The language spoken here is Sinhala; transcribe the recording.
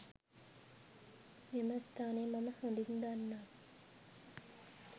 මෙම ස්ථානය මම හොදින් දන්නා